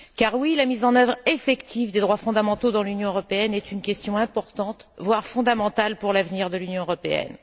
En effet, la mise en œuvre effective des droits fondamentaux dans l'Union européenne est une question importante, voire fondamentale, pour l'avenir de l'Union européenne.